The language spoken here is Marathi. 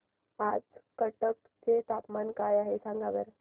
आज कटक चे तापमान काय आहे सांगा बरं